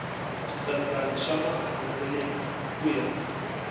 switandati swa maasesele ku ya